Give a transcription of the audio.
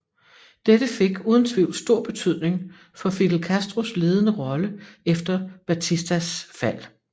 Dette fik uden tvivl stor betydning for Fidel Castros ledende rolle efter Batistas fald